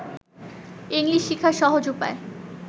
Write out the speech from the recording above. English শিখার সহজ উপায়